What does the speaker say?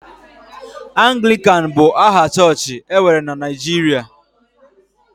Anglịkan bụ aha chọọchị e nwere na Naịjirịa